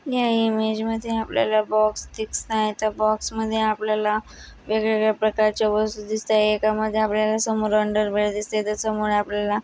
या इमेज मध्ये आपल्याला बॉक्स दिसत आहेत त्या बॉक्स मध्ये आपल्याला वेगवेगळा प्रकारचे वस्तु दिसत आहे एका मध्ये आपल्याला समोर अन्डर व्हेयर दिसत आहे. तर समोर आपल्याला--